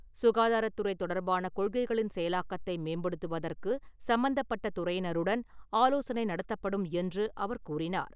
சுகாதாரத்துறை தொடர்பான கொள்கைகளின் செயலாக்கத்தை மேம்படுத்துவதற்கு சம்பந்தப்பட்ட துறையினருடன் ஆலோசனை நடத்தப்படும் என்று அவர் கூறினார்.